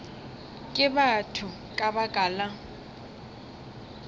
ke batho ka baka la